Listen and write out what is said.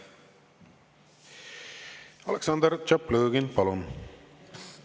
Aleksandr Tšaplõgin, palun!